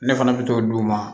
Ne fana bɛ t'o d'u ma